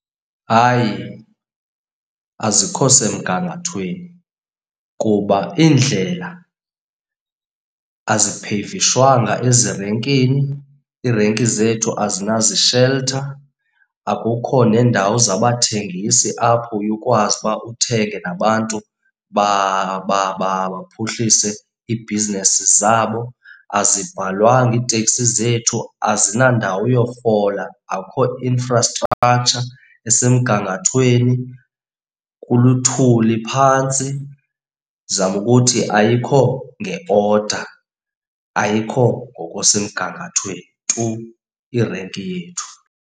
Hayi, azikho semgangathweni kuba iindlela azipheyivishwanga ezirenkini, iirenki zethu azinazisheltha. Akukho neendawo zabathengisi apho uye ukwazi uba uthenge nabantu baphuhlise iibhizinesi zabo. Azibhalwanga iiteksi zethu, azinandawo yofola, akukho infrastructure esemgangathweni, kuluthuli phantsi. Ndizama ukuthi ayikho nge-order, ayikho ngokusemgangathweni tu irenki yethu.